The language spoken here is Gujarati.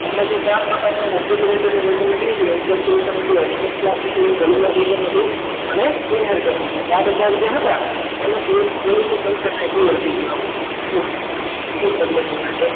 હમણાં જે તમને object તરીકે લખી દીધું હોય તો કેટલા સુધી જરૂરિયાત અને ચારે ચાર જે હતા એમાંથી એ જે આપણી પાસે અમુલ મોટા